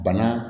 Bana